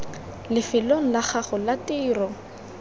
lefelong la gago la tiro